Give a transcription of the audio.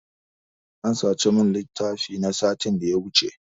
An sace min littafi na satin da ya wuce.